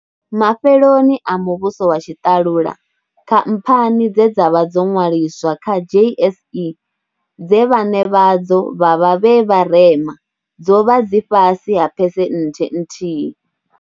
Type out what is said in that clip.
Mafheloni a muvhuso wa tshiṱalula, khamphani dze dza vha dzo ṅwaliswa kha JSE dze vhaṋe vhadzo vha vha vhe vharema dzo vha dzi fhasi ha phesenthe nthihi.